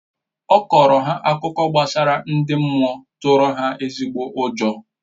Ọ kọrọ ha akụkọ gbasara ndị mmụọ tụrụ ha ezigbo ụjọ